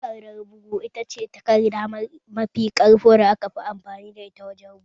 Takardar bond ita ce takarda mafi ƙarƙo da aka fi amfani da wurin bugu